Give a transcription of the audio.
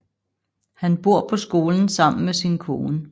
Han bor på skolen sammen med sin kone